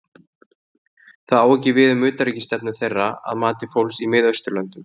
Það á ekki við um utanríkisstefnu þeirra að mati fólks í Mið-Austurlöndum.